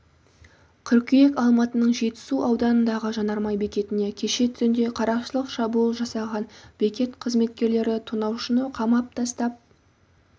қыркүйек алматының жетісу ауданындағы жанармай бекетіне кеше түнде қарақшылық шабуыл жасаған бекет қызметкерлері тонаушыны қамап тастап